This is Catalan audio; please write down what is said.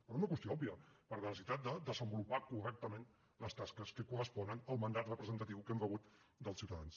per una qüestió òbvia per la necessitat de desenvolupar correctament les tasques que corresponen al mandat representatiu que hem rebut dels ciutadans